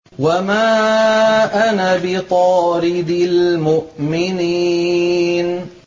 وَمَا أَنَا بِطَارِدِ الْمُؤْمِنِينَ